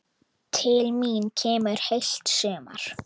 Til mín kemur heilt sumar.